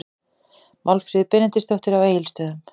Málfríður Benediktsdóttir á Egilsstöðum